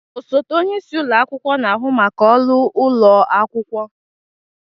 Osote onye isi ụlọ akwụkwọ na-ahụ maka ọrụ ụlọ akwụkwọ.